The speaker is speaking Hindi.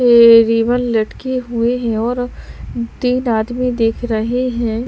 ये रिबन लटके हुए हैं और तीन आदमी दिख रहे हैं।